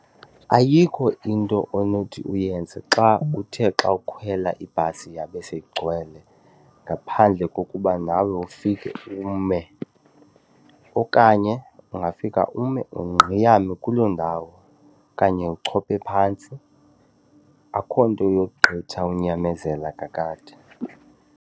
Ayikho into onothi uyenze xa uthe xa ukhwela ibhasi yabe seyigcwele ngaphandle kokuba nawe ufike ume. Okanye ungafika ume ungqeyame kuloo ndawo okanye uchophe phantsi, akho nto yogqitha unyamezela kakade.